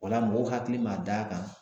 O la mɔgɔw hakili ma da a kan